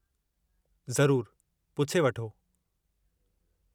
ज़रूरु, पुछे वठो।